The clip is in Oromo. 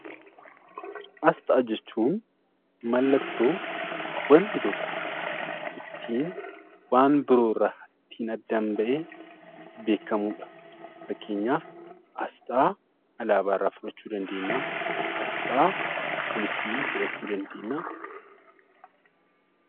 Asxaa jechuun mallattoo waanti tokko, waan biroo irraa ittiin addaan bahee beekamuudha. Fakkeenyaaf asxaa alaabaa irraa fudhachuu dandeenya, asxaa poolisii fudhachuu dandeenya,